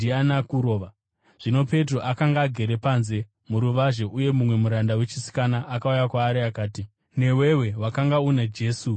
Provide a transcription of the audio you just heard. Zvino Petro akanga agere panze muruvazhe, uye mumwe muranda wechisikana akauya kwaari akati, “Newewo wakanga una Jesu weGarirea.”